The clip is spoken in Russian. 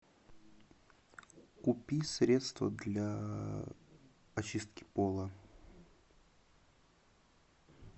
купи средство для очистки пола